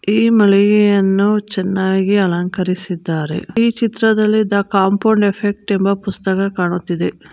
ಈ ಮಳಿಗೆಯನ್ನು ಚೆನ್ನಾಗಿ ಅಲಂಕರಿಸಿದ್ದಾರೆ ಈ ಚಿತ್ರದಲ್ಲಿ ದ್ದ ಕಾಂಪೌಂಡ್ ಎಫೆಕ್ಟ್ ಎಂಬ ಪುಸ್ತಕ ಕಾಣುತ್ತಿದೆ.